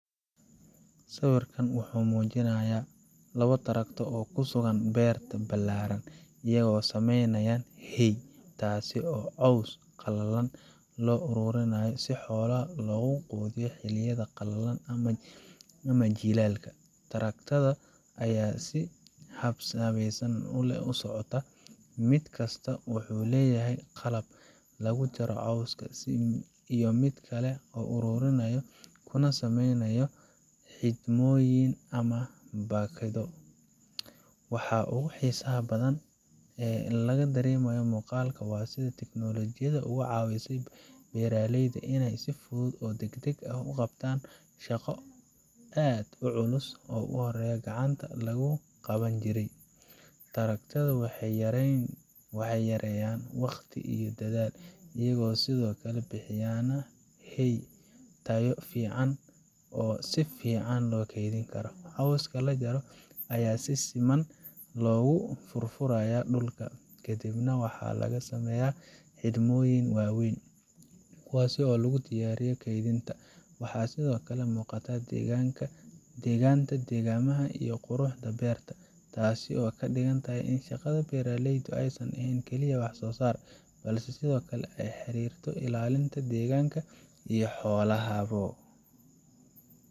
Sawirkan wuxuu muujinayaa laba traktor oo ku sugan beerta ballaaran, iyagoo samaynaya hay taas oo ah caws qalalan oo loo ururiyo si xoolaha loogu quudiyo xilliyada qalalan ama jiilaalka. Traktorrada ayaa si habsami leh u socda, mid kastaa wuxuu leeyahay qalab lagu jaro cawska iyo mid kale oo ururiyo kuna sameeyo xidhmooyin ama baakado. Waxa ugu xiisaha badan ee laga dareemayo muuqaalka waa sida ay tiknoolajiyadu uga caawisay beeraleyda inay si fudud oo degdeg ah u qabtaan shaqo aad u culus oo horey gacanta lagu qaban jiray. Traktorrada waxay yareeyaan waqti iyo dadaal, iyagoo sidoo kale bixinaya hay tayo fiican leh oo si fiican loo keydin karo. Cawska la jaro ayaa si siman loogu furfuriyaa dhulka, ka dibna waxaa laga sameeyaa xidhmooyin waaweyn, kuwaas oo loo diyaariyo kaydinta. Waxaa sidoo kale muuqata degganaanta deegaamaha iyo quruxda beerta, taasoo ka dhigan in shaqada beeraleyda aysan ahayn oo keliya wax soo saar, balse sidoo kale ay la xiriirto ilaalinta deegaanka iyo xoolaha bo